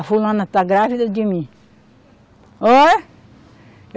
A fulana está grávida de mim. Olha